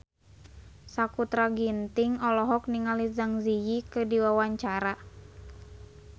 Sakutra Ginting olohok ningali Zang Zi Yi keur diwawancara